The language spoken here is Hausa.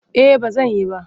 Eh ba zan yi ba.